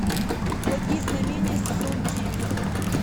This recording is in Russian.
благие знамения сезон девять